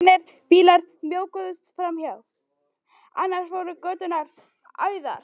Fáeinir bílar mjökuðust framhjá, annars voru göturnar auðar.